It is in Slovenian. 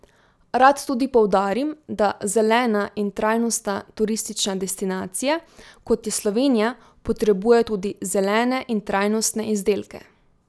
Rad tudi poudarim, da zelena in trajnostna turistična destinacija, kot je Slovenija, potrebuje tudi zelene in trajnostne izdelke.